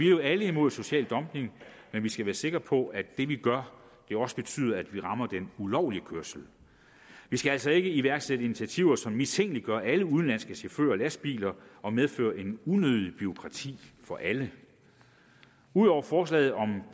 jo alle imod social dumping men vi skal være sikre på at det vi gør også betyder at vi rammer den ulovlige kørsel vi skal altså ikke iværksætte initiativer som mistænkeliggør alle udenlandske chauffører og lastbiler og medfører et unødigt bureaukrati for alle ud over forslaget om en